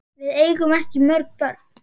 Við eigum ekki mörg börn.